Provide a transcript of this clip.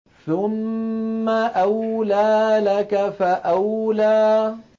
ثُمَّ أَوْلَىٰ لَكَ فَأَوْلَىٰ